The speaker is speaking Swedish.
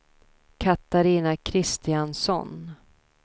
Katarina Kristiansson